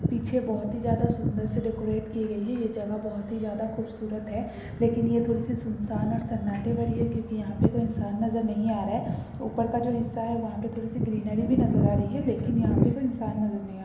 पीछे बहुत ही जायद सुन्दर से डेकरैट की गई है ये जगह बहुत ही जायद खूबसूरत है लेकिन ये थोरी सी सुनसन और सन्नाटे भरी है क्यू की यहाँ पर कोई इंसान नजर नहीं आ रहा है ऊपर का जो हिस्सा है वहाँ पे थोड़ी सी ग्रीनरी भी नजर आ रही है लेकिन यहाँ कोई इंसान नजर नहीं आर रहा है।